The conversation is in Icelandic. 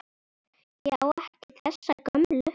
Ég á ekki þessa gömlu.